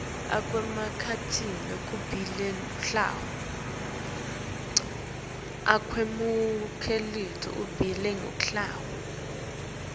akwemukelwe kokubili luhlavu